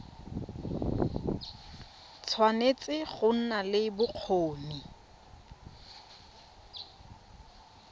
tshwanetse go nna le bokgoni